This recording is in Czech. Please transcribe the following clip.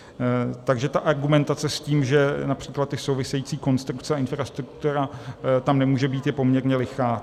Takže ta argumentace s tím, že například ty související konstrukce a infrastruktura tam nemůžou být, je poměrně lichá.